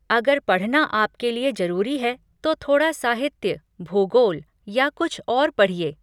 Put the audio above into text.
अगर पढ़ना आपके लिए जरूरी है तो थोड़ा साहित्य, भूगोल या कुछ और पढ़िए।